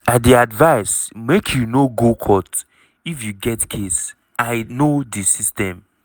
i dey advise make you no go court if you get case i know di system."